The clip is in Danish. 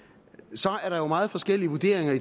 så er der jo meget forskellige vurderinger